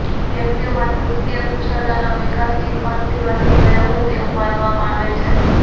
વ્યક્તિઓમાં નૃત્ય કુશળતાનો વિકાસ ચિમ્પાન્ઝીમાંથી થયો હોય તેવું માનવામાં આવે છે